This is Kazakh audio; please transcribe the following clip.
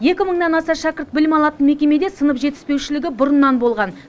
екі мыңнан аса шәкірт білім алатын мекемеде сынып жетіспеушілігі бұрыннан болған